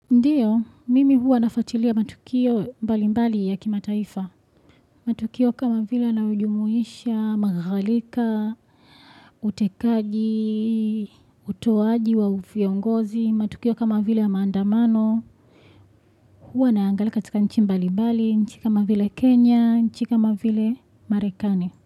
Ndiyo, mimi huwa nafatilia matukio mbali mbali ya kimataifa. Matukio kama vile yanayo jumuisha, maghalika, utekaji, utoaji wa viongozi. Matukio kama vile ya maandamano. Huwa naangalia katika nchi mbali mbali, nchi kama vile Kenya, nchi kama vile Marekani.